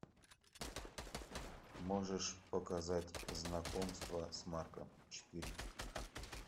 можешь показать знакомство с марком четыре ка